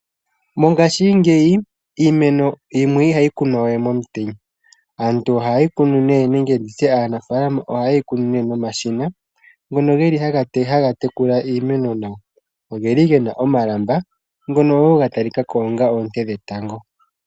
Mongashingeyi iimeno yimwe ihayi kunwa we momutenya. Aantu ohaye yi kunu nee nenge ndi tye aanafaalama ohaye yi kunu nomashina ngono ge li haga tekula iimeno nawa. Oge li ge na omalamba, ngono wo ga talika ko onga oonte dhetango.